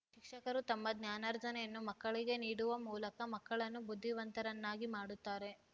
ಶಿಕ್ಷಕರು ತಮ್ಮ ಜ್ಞಾನಾರ್ಜನೆಯನ್ನು ಮಕ್ಕಳಿಗೆ ನೀಡುವ ಮೂಲಕ ಮಕ್ಕಳನ್ನು ಬುದ್ಧಿವಂತರನ್ನಾಗಿ ಮಾಡುತ್ತಾರೆ